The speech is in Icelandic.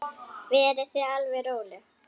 Verið þið alveg róleg.